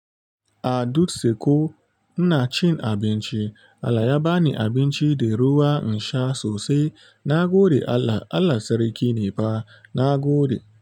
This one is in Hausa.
A dutse ko ina cin abinci Allah ya bani abinci da ruwa in sha sosai na gode Allah. Allah sarki ne fa nagode.